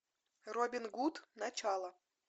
робин гуд начало